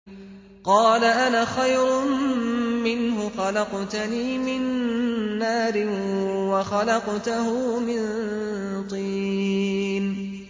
قَالَ أَنَا خَيْرٌ مِّنْهُ ۖ خَلَقْتَنِي مِن نَّارٍ وَخَلَقْتَهُ مِن طِينٍ